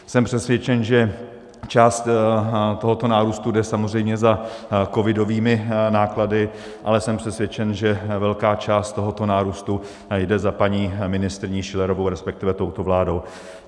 Jsem přesvědčen, že část tohoto nárůstu jde samozřejmě za covidovými náklady, ale jsem přesvědčen, že velká část tohoto nárůstu jde za paní ministryní Schillerovou, respektive touto vládou.